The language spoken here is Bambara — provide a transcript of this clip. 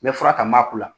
Mɛ fura ta ma k'o la